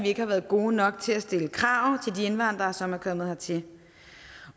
ikke har været gode nok til at stille krav til de indvandrere som er kommet hertil